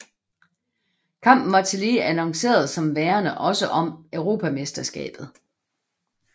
Kampen var tillige annonceret som værende også om europamesterskabet